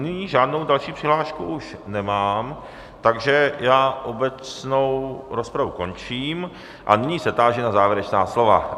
Nyní žádnou další přihlášku už nemám, takže já obecnou rozpravu končím a nyní se táži na závěrečná slova.